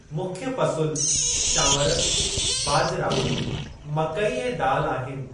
मुख्य फ़सुल चांवर, बाजरा, मकई ऐं दालि आहिनि।